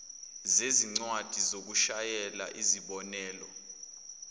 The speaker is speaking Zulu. zezincwadi zokushayela izibonelelo